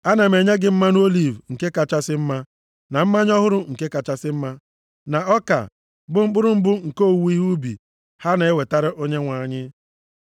“Ana m enye gị mmanụ oliv nke kachasị mma, na mmanya ọhụrụ nke kachasị mma na ọka, bụ mkpụrụ mbụ nke owuwe ihe ubi ha na-ewetara Onyenwe anyị.